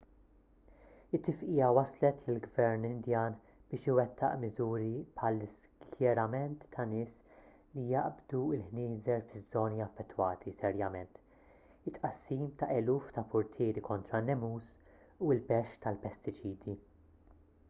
it-tifqigħa wasslet lill-gvern indjan biex iwettaq miżuri bħall-iskjerament ta' nies li jaqbdu l-ħnieżer fiż-żoni affettwati serjament it-tqassim ta' eluf ta' purtieri kontra n-nemus u l-bexx tal-pestiċidi